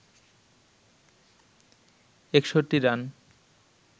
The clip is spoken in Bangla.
৬১ রান